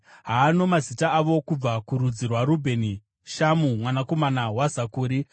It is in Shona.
Haano mazita avo: kubva kurudzi rwaRubheni, Shamua mwanakomana waZakuri;